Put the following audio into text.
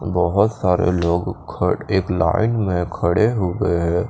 बोहोत सारे लोग खड़े एक लाइन में खड़े हो गए हैं।